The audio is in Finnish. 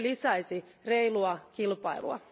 Se lisäisi reilua kilpailua.